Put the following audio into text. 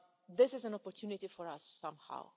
This is an opportunity for us somehow.